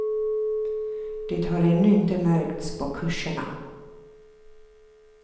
Det har ännu inte märkts på kurserna.